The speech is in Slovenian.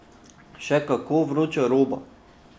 Še kako vroča roba!